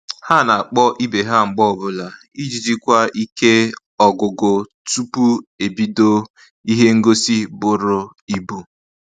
Ha na-akpọ ibe ha mgbe ọbụla iji jikwa ike ọgụgụ tupu ebido ihe ngosi bụrụ ibu